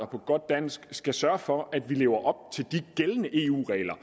på godt dansk skal sørge for at vi lever op til de gældende eu regler